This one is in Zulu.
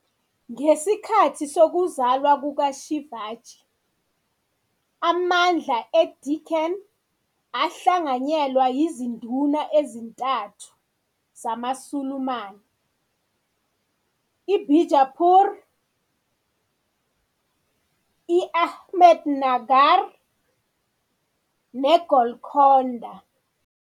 Ngesikhathi sokuzalwa kuka-Shivaji, amandla e-Deccan ahlanganyelwa izinduna ezintathu zamaSulumane- i-Bijapur, i-Ahmednagar, ne-Golkonda.